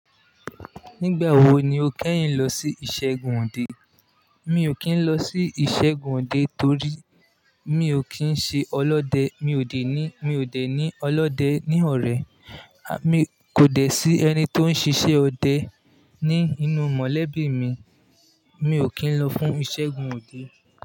Nígbà wo ni o kẹ́yìn lọ sí ìṣẹ́gun òde? Mi ò kí ń lọ sí ìṣẹ́gun òde torí mi ò kí ń ṣe ọlọ́dẹ. Mi ò dẹ̀ ní, mi ò dẹ̀ ní ọlọ́dẹ ní ọ̀rẹ́. À mi kò dẹ̀ sí ẹni tó ń ṣíṣe ọdẹ ní inú mọ̀lẹ́bí mi. Mi ò kí ń lọ fún ìṣẹ́gun òde.